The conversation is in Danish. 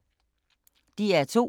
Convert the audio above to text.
DR2